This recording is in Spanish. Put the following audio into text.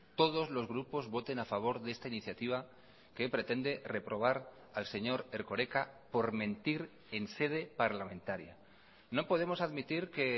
todos los grupos voten a favor de esta iniciativa que pretende reprobar al señor erkoreka por mentir en sede parlamentaria no podemos admitir que